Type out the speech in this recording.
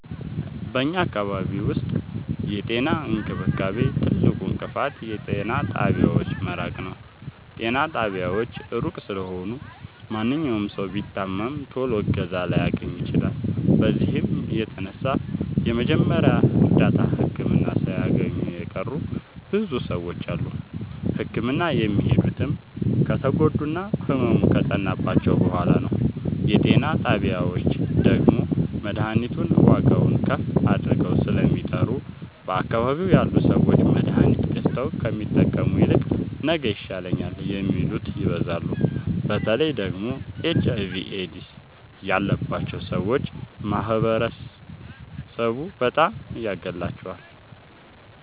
በኛ አካባቢ ዉስጥ የጤና እንክብካቤ ትልቁ እንቅፋት የጤና ጣቢያዎች መራቅ ነዉ። ጤና ጣቢያዎች እሩቅ ስለሆኑ ማንኛዉም ሠዉ ቢታመም ቶሎ እገዛ ላያገኝ ይችላል። በዚህም የተነሣ የመጀመሪያ እርዳታ ህክምና ሣያገኙ የቀሩ ብዙ ሰዎች አሉ። ህክምና የሚሄዱትም ከተጎዱና ህመሙ ከፀናባቸዉ በሗላ ነዉ። የጤና ጣቢያዎች ደግሞ መድሀኒቱን ዋጋዉን ከፍ አድርገዉ ስለሚጠሩ በአካባቢዉ ያሉ ሠዎች መድሀኒት ገዝተዉ ከሚጠቀሙ ይልቅ ነገ ይሻለኛል የሚሉት ይበዛሉ። በተለይ ደግሞ ኤች አይቪ ኤድስ ያባቸዉ ሠዎች ማህበረሡ በጣም ያገላቸዋል።